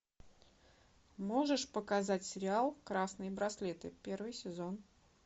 можешь показать сериал красные браслеты первый сезон